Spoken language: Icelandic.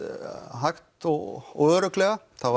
hægt og örugglega það